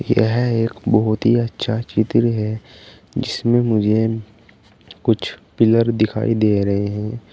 यह एक बहोत ही अच्छा चित्र है जिसमें मुझे कुछ पिलर दिखाई दे रहे हैं।